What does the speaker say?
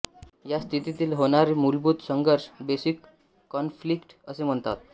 ह्यास्थितीला होर्नाय मूलभूत संघर्ष बेसिक कॉन्फ्लिक्ट असे म्हणते